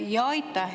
Aitäh!